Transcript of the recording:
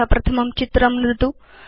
अथ प्रथमं चित्रं नुदतु